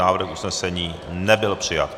Návrh usnesení nebyl přijat.